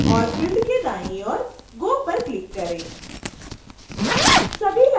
और फिल्ड के दाईं और go पर क्लिक करें